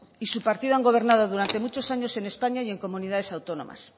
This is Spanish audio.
y su partido han gobernado durante muchos años en españa y en comunidades autónomas